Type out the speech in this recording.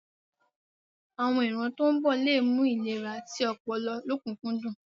Àwon ìran tó ń bọ̀ le mú ìlera ti ọpọlọ lọ́kùnkúndùn.